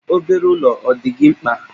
Obere ụlọ ọ dị gị mkpa?